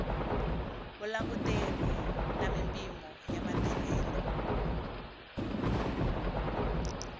vulanguteri na mimpimo ya matirhelo